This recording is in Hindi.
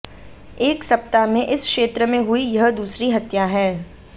एक सप्ताह में इस क्षेत्र में हुई यह दूसरी हत्या है